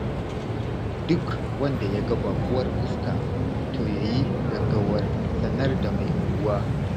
Duk wanda ya ga baƙuwar fuska, to ya yi gaggawar sanar da mai unguwa.